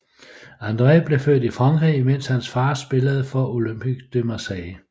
André blev født i Frankrig imens hans far spillede for Olympique de Marseille